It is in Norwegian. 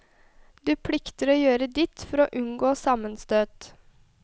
Du plikter å gjøre ditt for å unngå sammenstøt.